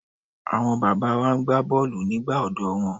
Àwọn bàbá wa na gbá bọ́ọ̀lù nígbà ọ̀dọ́ wọn.